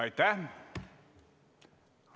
Aitäh!